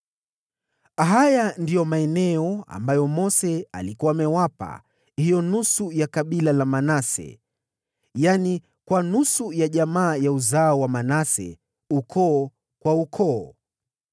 Haya ndiyo maeneo ambayo Mose alikuwa amewapa hiyo nusu ya kabila la Manase, yaani kwa nusu ya jamaa ya uzao wa Manase, ukoo kwa ukoo: